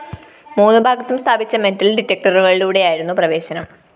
മൂന്ന് ഭാഗത്തും സ്ഥാപിച്ച മെറ്റൽ ഡിറ്റക്ടറുകളിലൂടെയായിരുന്നു പ്രവേശനം